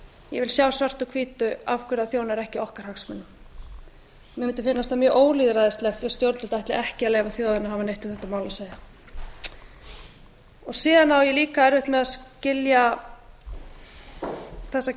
ég vil sjá svart á hvítu af hverju það þjónar ekki okkar hagsmunum mér mundi finnast það mjög ólýðræðislegt ef stjórnvöld ætla ekki að leyfa þjóðinni að hafa neitt um þetta mál að segja síðan á ég líka erfitt með að skilja þessa